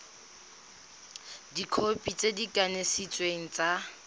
dikhopi tse di kanisitsweng tsa